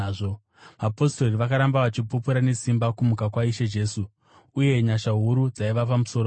Vapostori vakaramba vachipupura nesimba kumuka kwaIshe Jesu, uye nyasha huru dzaiva pamusoro pavo.